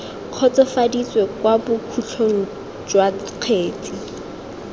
kgotsofaditswe kwa bokhutlong jwa kgetse